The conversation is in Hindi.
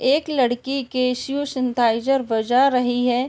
एक लड़की बजा रही है।